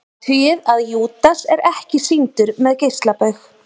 Athugið að Júdas er ekki sýndur með geislabaug.